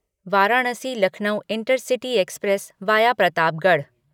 Varanasi Lucknow intercity express via Pratapgarh